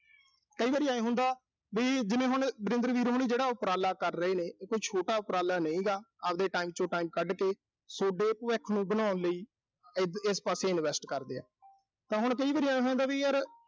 ਕਈ ਵਾਰ ਆਏਂ ਹੁੰਦਾ ਵੀ ਜਿਵੇਂ ਵਰਿੰਦਰ ਵੀਰ ਹੋਣੀ ਜਿਹੜਾ ਉਪਰਾਲਾ ਕਰ ਰਹੇ ਨੇ। ਇਹ ਕੋਈ ਛੋਟਾ ਉਪਰਾਲਾ ਨੀਂ ਹੈਗਾ। ਆਬਦੇ time ਚੋਂ time ਕੱਢ ਕੇ ਸੋਡੇ ਭਵਿੱਖ ਨੂੰ ਬਣਾਉਣ ਲਈ ਅਹ ਇਸ ਪਾਸੇ invest ਕਰਦੇ ਆ। ਤਾਂ ਹੁਣ ਕਈ ਵਾਰੀ ਆਏਂ ਹੋ ਜਾਂਦਾ ਵੀ ਯਰ